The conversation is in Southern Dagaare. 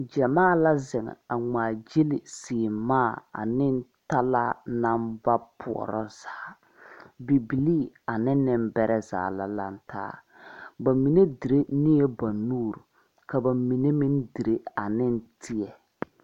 Gyamaa la zeŋ a ngmaagyile sèèmaa ane talaa naŋ ba pɔɔrɔ zaa bibilii ane neŋbɛrɛ zaa la laŋtaa ba mine dire ne la ba nuure ka ba mine meŋ dire aneŋ teɛ.